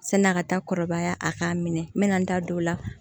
Sani a ka taa kɔrɔbaya a k'a minɛ n bɛna n da don o la